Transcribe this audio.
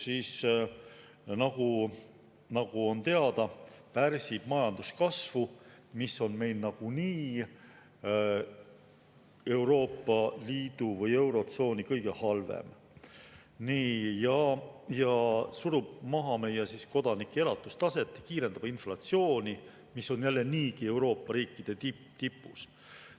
Ja maksutõus, nagu on teada, pärsib majanduskasvu, mis on meil nagunii Euroopa Liidu või eurotsooni kõige halvem, ja surub maha meie kodanike elatustaset, kiirendab inflatsiooni, mis on niigi Euroopa riikide tipus.